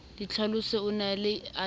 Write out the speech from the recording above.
ditlhaloso o ne a di